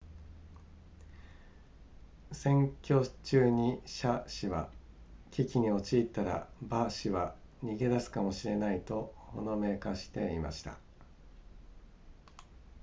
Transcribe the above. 選挙中に謝氏は危機に陥ったら馬氏は逃げ出すかもしれないとほのめかしていました